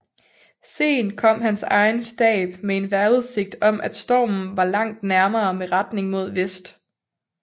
Sent kom hans egen stab med en vejrudsigt om at stormen var langt nærmere med retning mod vest